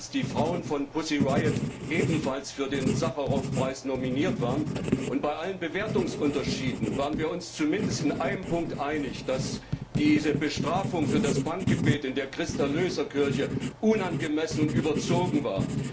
Sie wissen, dass die Frauen von Pussy Riot ebenso für den Sacharow Preis nominiert waren, und bei allen Bewertungsunterschieden waren wir uns zumindest in einem Punkt einig, dass diese Bestrafung für das Punkgebet in der Christ Erlöser Kirche unangemessen und überzogen war.